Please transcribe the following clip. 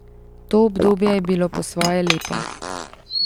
To obdobje je bilo po svoje lepo.